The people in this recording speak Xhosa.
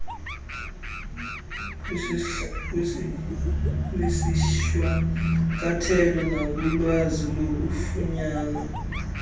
kwisishwankathelo nakulwazi olufunyanwa